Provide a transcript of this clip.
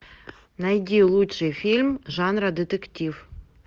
найди лучший фильм жанра детектив